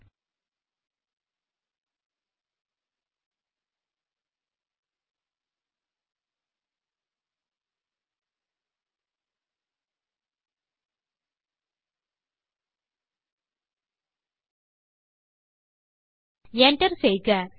Enter செய்க